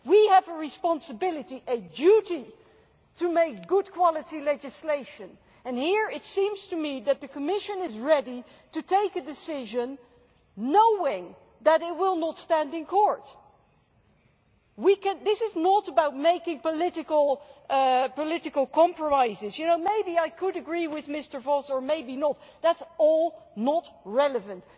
We have a responsibility and a duty to make good quality legislation and here it seems to me that the Commission is ready to take a decision knowing that it will not stand up in court. This is not about making political compromises you know, maybe I could agree with Mr Voss or maybe not that is all not relevant.